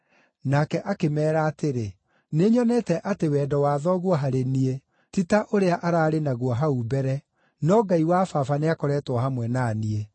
Nake akĩmeera atĩrĩ, “Nĩnyonete atĩ wendo wa thoguo harĩ niĩ ti ta ũrĩa ararĩ naguo hau mbere, no Ngai wa baba nĩakoretwo hamwe na niĩ.